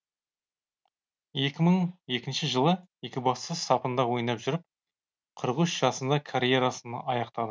екі мың екінші жылы екібастұз сапында ойнап жүріп қырық үш жасында карьерасын аяқтады